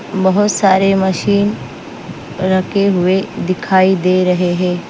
बहुत सारे मशीन रखे हुए दिखाई दे रहे हैं।